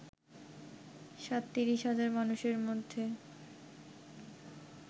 ৩৭ হাজার মানুষের মধ্যে